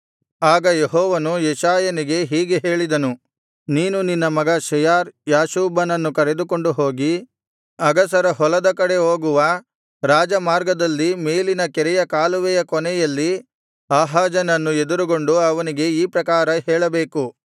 ಆಗ ಯೆಹೋವನು ಯೆಶಾಯನಿಗೆ ಹೀಗೆ ಹೇಳಿದನು ನೀನು ನಿನ್ನ ಮಗ ಶೆಯಾರ್ ಯಾಶೂಬನನ್ನು ಕರೆದುಕೊಂಡು ಹೋಗಿ ಅಗಸರ ಹೊಲದ ಕಡೆ ಹೋಗುವ ರಾಜಮಾರ್ಗದಲ್ಲಿ ಮೇಲಿನ ಕೆರೆಯ ಕಾಲುವೆಯ ಕೊನೆಯಲ್ಲಿ ಆಹಾಜನನ್ನು ಎದುರುಗೊಂಡು ಅವನಿಗೆ ಈ ಪ್ರಕಾರ ಹೇಳಬೇಕು